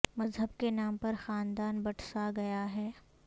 مذہب کے نام پر خاندان بٹ سا گیا ہے